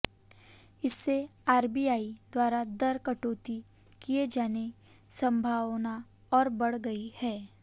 इससे आरबीआई द्वारा दर कटौती किए जाने संभावना और बढ़ गई है